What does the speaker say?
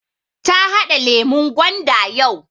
Ta haɗa lemun gwanda yau